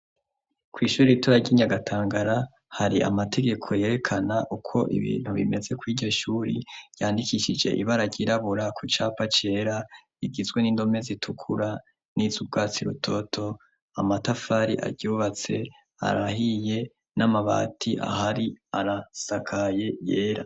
kw'ishuri ritoya ry'inyagatangara hari amategeko yerekana uko ibintu bimeze kwiryoshure yandikishije ibara ryirabura ku capa cera bigizwe n'indome zitukura n'izubwatsi rutoto amatafari aryubatse arahiye n'amabati ahari arasakaye yera